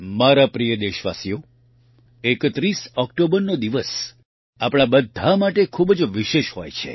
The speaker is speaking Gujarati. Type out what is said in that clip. મારા પ્રિય દેશવાસીઓ ૩૧ ઓકટોબરનો દિવસ આપણા બધા માટે ખૂબ જ વિશેષ હોય છે